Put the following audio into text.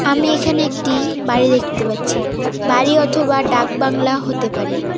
আমি এখানে একটি বাড়ি দেখতে পাচ্ছি বাড়ি অথবা ডাকবাংলা হতে পারে।